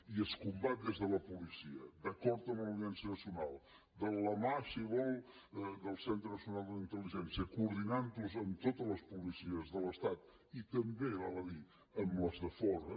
i es combat des de la policia d’acord amb l’audiència nacional de la mà si vol del centre nacional d’intelligència coordinant ho amb totes les policies de l’estat i també val a dir amb les de fora